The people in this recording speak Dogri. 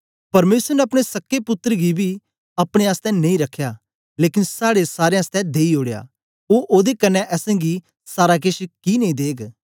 परमेसर ने अपने सक्के पुत्तर गी बी अपने आसतै नेई रखया लेकन साड़े सारें आसतै देई ओडया ओ ओदे कन्ने असेंगी सारा केछ कि नेई देग